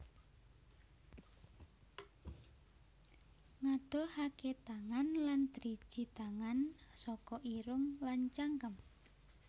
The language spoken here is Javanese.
Ngadohaké tangan lan driji tangan saka irung lan cangkem